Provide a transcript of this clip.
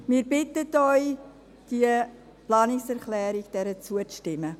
Wir bitten Sie, dieser Planungserklärung zuzustimmen.